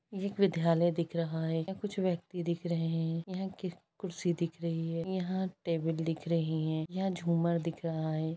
ये एक विद्यालय दिख रहा है यहाँ कुछ व्यक्ति दिख रहे है यहा कुर्शी दिख रही है यहाँ टेबिल दिख रही है यहाँ झुमर दिख रहा है।